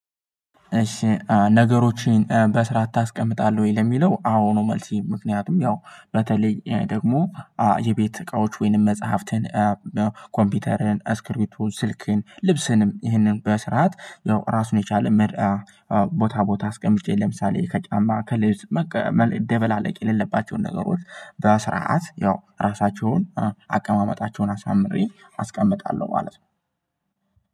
ነገሮችን በስርዓት ታስቀምጣለሁ ወይ ለሚለው አዎ ነው። መልሴ ምክንያቱም ያው በተለይ ደግሞ የቤት እቃዎች ወይንም መጽሐፍትን። ኮምፒውተርን አስክርቢቶ ስልክን ልብስንም ይህንን በስርዓት። ራሱን የቻለ ምርአ ቦታ ቦታ አስቀምጬ ለምሳሌ ከጫማ ከልብስ። ደብላለቅ የሌለባቸውን ነገሮች በስርዓት ያው ራሳቸውን አቀማመጣቸውን አሳምሬ አስቀምጣለሁ ማለት ነው።